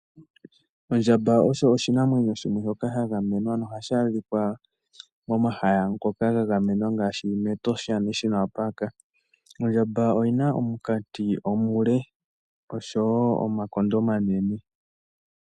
Ondjamba osho oshinamwenyo shimwe shoka sha gamenwa, ano ohashi adhikwa momahala ngoka ga gamenwa ngashi moshikunino shiinamwenyo mEtosha. Ondjamba oyina omunkati omule osho wo omakondo omanene.